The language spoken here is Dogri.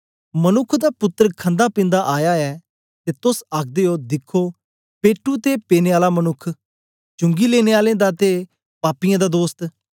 मनुक्ख दा पुत्तर खंदापिन्दा आया ऐ ते तोस आखदे ओ दिखखो पेटू ते पीने आला मनुक्ख चुंगी लेने आलें दा ते पापीए दा दोस्त